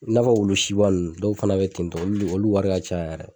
I nafɔ wulu siba nunnu dɔw fana bɛ tentɔ olu de, olu wari ka ca yɛrɛ.